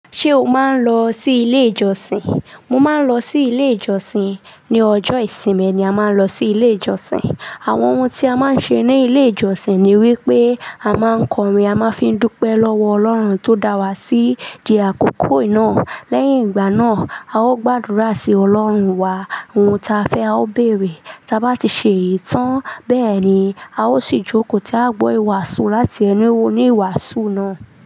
Ṣé o máa ń lọ sí ilé ìjọsìn? Mo máa ń lọ sí ilé ìjọsìn. Ni ọjọ́ ìsinmi ni a máa ń lọ sí ilé ìjọsìn. Àwọn ohun tí a máa ń ṣe ní ilé ìjọsìn ni wípé a máa ń kọrin, a máa ń fi dúpe lọ́wọ́ Ọlọ́run tó dá wa sí di àkókò iná. Lẹ́yìn ìgbà náà, a ó gbàdúrà sí Ọlọ́run wa ohun ta fẹ́ a ó bèrè. Tí a bá ti ṣe ìtàn bẹ́ẹ̀ ni, a ó sì jókòó tí a gbọ́ ìwàásù láti ẹni wo ní ìwàásù náà.